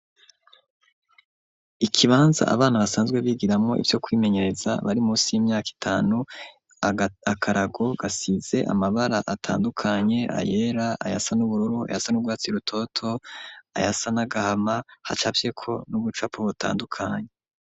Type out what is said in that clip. Ikibanza abana basanzwe bigiramwo ivyo kwimenyereza bari musi y'imyaka itanu, akarago gasize amabara atandukanye ayera ayasa n'ubururu ayasa n'urwatsi rutoto ayasa n'agahama hacafyeko n'ubucapo butandukanye.